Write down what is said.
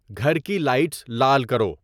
گھر کی لائٹس لال کرو